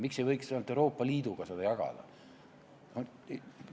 Miks ei võiks vähemalt Euroopa Liiduga seda jagada?